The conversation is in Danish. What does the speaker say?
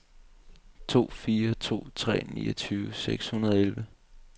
to fire to tre niogtyve seks hundrede og elleve